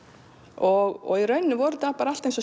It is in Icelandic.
og í rauninni var þetta bara allt eins og